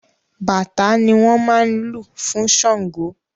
Bàtá ni wọn máa ń lù fún Sángo.